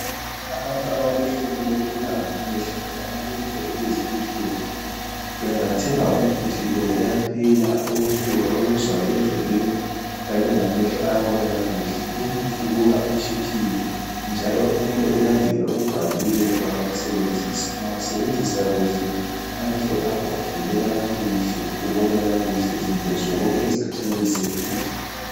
Abantu abalohlupho lokubulawa ngamehlo kumbe abalendlebe ezibuhlungu bengathenga umuthi lo kuyaphela ubuhlungu ababuzwayo endlebeni kanye lamehlo ayabona kakuhle. Lumuthi ubuka utshiphile njalo kumele ulandele okubhaliweyo ungakawusebenzisi. Ungawusebenzisa kuhle amehlo akho avuleka kakuhle ubone kakuhle izinto zonke ezikhatshana leziseduze.